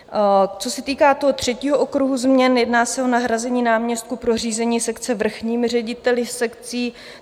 Co se týká toho třetího okruhu změn, jedná se o nahrazení náměstků pro řízení sekce vrchními řediteli sekcí.